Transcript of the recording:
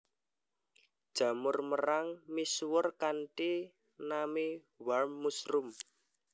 Jamur merang misuwur kanthi nami warm mushroom